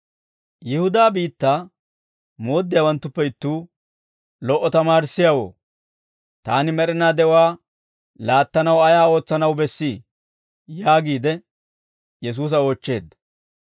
Yihudaa biittaa Mooddiyaawanttuppe ittuu, «Lo"o tamaarissiyaawoo, taani med'inaa de'uwaa laattanaw ayaa ootsanaw bessii?» yaagiide Yesuusa oochcheedda.